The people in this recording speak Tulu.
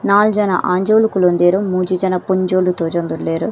ನಾಲ್ ಜನ ಆಂಜೋವುಲು ಕುಲೋಂದೆರ್ ಮೂಜಿ ಜನ ಪೊಂಜೋವುಲು ತೋಜೊಂದುಲ್ಲೆರ್.